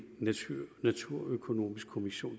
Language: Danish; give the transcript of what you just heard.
naturøkonomisk kommission